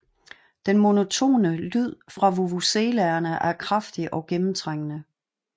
Den monotone lyd fra vuvuzelaerne er kraftig og gennemtrængende